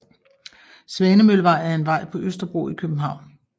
Svanemøllevej er en vej på Østerbro i København